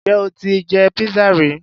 Ǹjẹ́ o ti jẹ pizza ri?